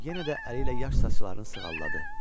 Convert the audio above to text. Yenə də əliylə yaş saçlarını sığalladı.